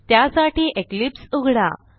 त्यासाठी इक्लिप्स उघडा